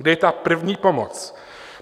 Kde je ta první pomoc?